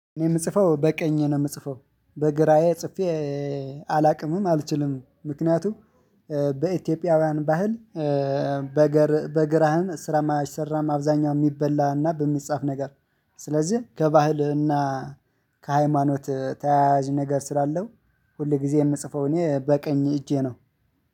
እኔ የምጽፈው በቀኝ ነው የምጽፈው በግራዬ ጽፌ አላውቅምም አልችልም ምክንያቱም በኢትዮጵያውያን ባህል። በግራህም ስራም አይሰራም አብዛኛው የሚበላና በሚጻፍ ነገር። ስለዚህ ከባህልህና ከሃይማኖት ተያያዥ ነገር ስላለው ሁል ጊዜ የምጽፈው እኔ በቀኝ እጄ ነው።